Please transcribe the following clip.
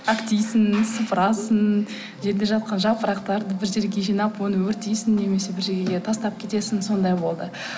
әктейсің сыпырасың жерде жатқан жапырақтарды бір жерге жинап оны өртейсің немесе бір жерге тастап кетесің сондай болды